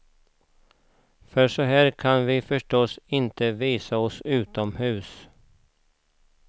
För så här kan vi förstås inte visa oss utomhus.